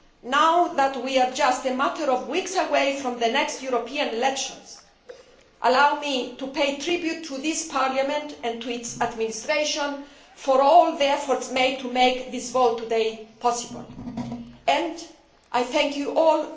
Now that we are just a matter of weeks away from the next European elections, allow me to pay tribute to this Parliament and to its administration for all the efforts made to make this vote today possible, for which I thank you